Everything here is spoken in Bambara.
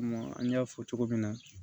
an y'a fɔ cogo min na